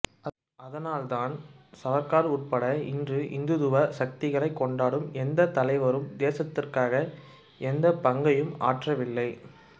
அதனால் தான் சவர்க்கார் உள்பட இன்று இந்த்துதுவ சக்திகள் கொண்டாடும் எந்த தலைவரும் தேசத்திற்காக எந்த பங்கையும் ஆற்றவில்லை